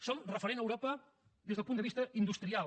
som referents a europa des del punt de vista industrial